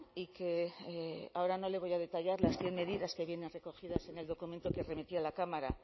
y que ahora no le voy a detallar las cien medidas que vienen recogidas en el documento que remití a la cámara